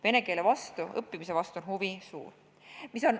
Vene keele õppimise vastu on huvi suur.